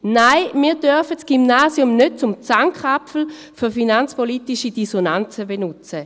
Nein, wir dürfen das Gymnasium nicht als Zankapfel finanzpolitischer Dissonanzen benutzen.